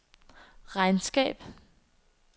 regnskab